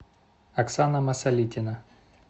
оксана масалитина